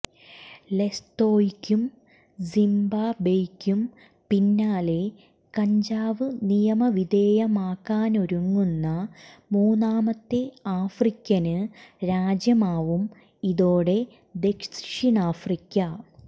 ലെസ്തോയ്ക്കും സിംബാബ്വെയ്ക്കും പിന്നാലെ കഞ്ചാവ് നിയമവിധേയമാക്കാനൊരുങ്ങുന്ന മൂന്നാമത്തെ ആഫ്രിക്കന് രാജ്യമാവും ഇതോടെ ദക്ഷിണാഫ്രിക്ക